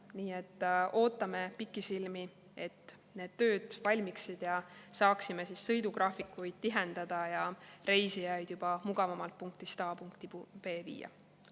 Nii et ootame pikisilmi, et need tööd valmiksid ja saaksime sõidugraafikuid tihendada ja reisijaid juba mugavamalt punktist A punkti B viia.